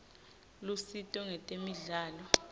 lusito ngetemidlalo